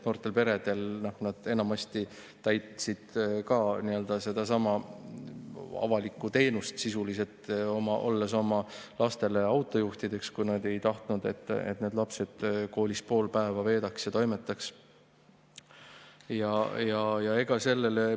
Noored pered enamasti pakkusid sedasama avalikku teenust, olles sisuliselt oma lastele autojuhtideks, kui nad ei tahtnud, et need lapsed pool päeva koolis veedaks ja seal toimetaks.